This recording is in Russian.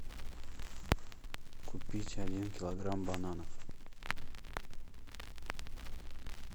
купить один килограмм бананов